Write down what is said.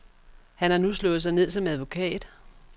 Han har nu slået sig ned som advokat.